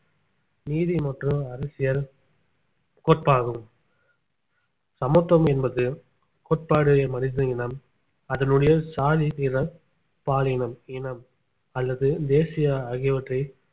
நீதி மற்றும் அரசியல் கோட்பாகும் சமத்துவம் என்பது கோட்பாடு மனித இனம் அதனுடைய சாதி நிறம் பாலினம் இனம் அல்லது தேசிய ஆகியவற்றை